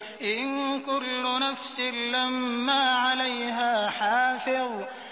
إِن كُلُّ نَفْسٍ لَّمَّا عَلَيْهَا حَافِظٌ